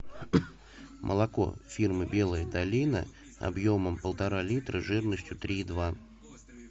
молоко фирмы белая долина объемом полтора литра жирностью три и два